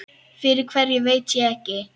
Fyrir hverju veit ég ekki.